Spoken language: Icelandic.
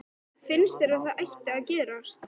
Finnst þér að það ætti að gerast?